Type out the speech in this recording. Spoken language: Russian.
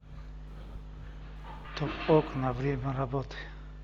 топ окна время работы